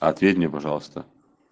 ответь мне пожалуйста